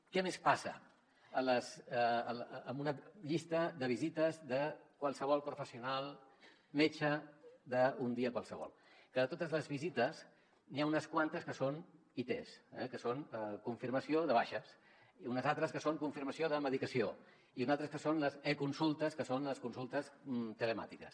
què més passa en una llista de visites de qualsevol professional metge d’un dia qualsevol que de totes les visites n’hi ha unes quantes que són its eh que són confirmació de baixes i unes altres que són confirmació de medicació i unes altres que són les econsultes que són les consultes telemàtiques